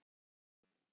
Þar segir síðan: